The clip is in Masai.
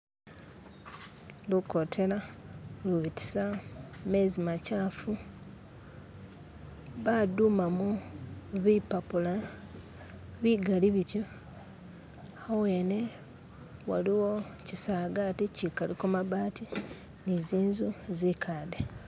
lukotena lubitisa mezi makyafu badumamo bipapula bigali bityo awene waliwo kyisagati kyikaliko mabati ni zinzu zikadde.